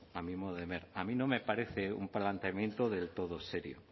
a mi modo de ver a mí no me parece un planteamiento del todo serio